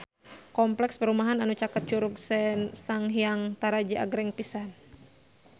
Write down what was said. Kompleks perumahan anu caket Curug Sanghyang Taraje agreng pisan